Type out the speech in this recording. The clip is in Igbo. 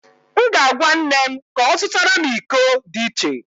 M ga-agwa nne m ka ọ zụtara m iko dị iche